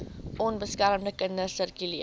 onbeskermde kinders sirkuleer